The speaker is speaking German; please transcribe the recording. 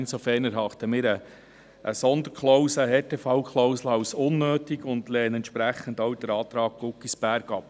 Insofern erachten wir eine Sonderklausel, eine Härtefallklausel als unnötig und lehnen entsprechend auch den Antrag Guggisberg ab.